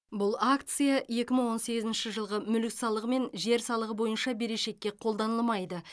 бұл акция екі мың он сегізінші жылғы мүлік салығы мен жер салығы бойынша берешекке қолданылмайды